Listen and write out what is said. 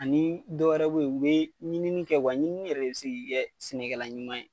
Ani dɔ wɛrɛw be ye u be ɲinini kɛ wa ɲinini yɛrɛ de bi se k'i kɛ sɛnɛkɛla ɲuman ye.